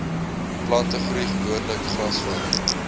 plantegroei gewoonlik grasveld